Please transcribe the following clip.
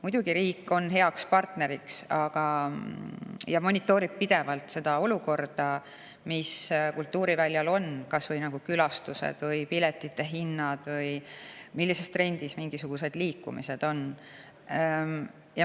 Muidugi on riik heaks partneriks ja monitoorib pidevalt seda olukorda, mis kultuuriväljal on, kas või külastuste või piletihinnad või millises trendis mingisugused liikumised on.